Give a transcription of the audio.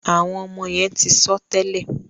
àwọn ọmọ yén tí sọ tèlé.